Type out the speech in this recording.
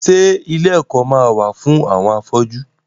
Ṣé ilé ẹ̀kọ́ ma wà fún àwọn afọ́jú?